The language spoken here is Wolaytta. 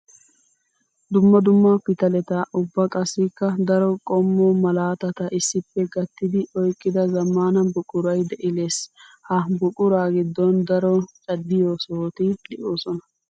Dumma dumma pitaletta ubba qassikka daro qommo malaatatta issippe gattiddi oyqqidda zamaana buquray de'eeals. Ha buqura gidon daro caddiyo sohotti de'osonna.